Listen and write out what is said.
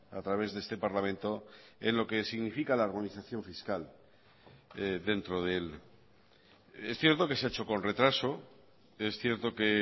a través de este parlamento en lo que significa la organización fiscal dentro de él es cierto que se ha hecho con retraso es cierto que